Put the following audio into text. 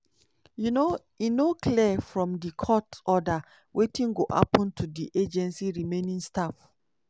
um e no clear from di court order wetin go happun to di agency remaining staff.